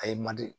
A ye man di